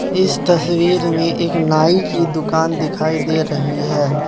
इस तस्वीर में एक नाई की दुकान दिखाई दे रही हैं।